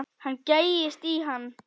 Hann gægist í hann.